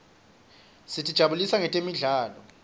sitijabulisa nangetemidlalo